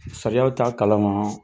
Sariyaw t'a kalama.